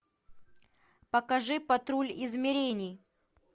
покажи патруль измерений